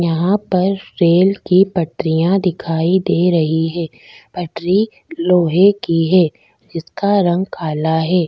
यहाँ पर रेल की पटरियाँ दिखाई दे रही है पटरी लोहे की है जिसका रंग काला है।